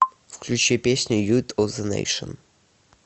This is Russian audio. включи песню ют оф зе нэйшн